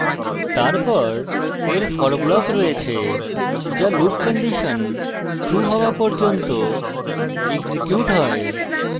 তারপর এর for block রয়েছে যা loop condition true হওয়া পর্যন্ত এক্সিকিউট has